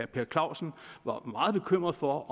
per clausen var meget bekymret for